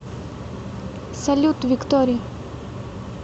салют виктори